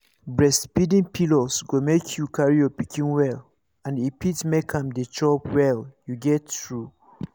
breastfeeding pillows go make you carry your pikin well and e fit make am dey chop well you get true